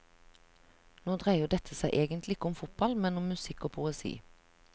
Nå dreier dette seg egentlig ikke om fotball, men om musikk og poesi.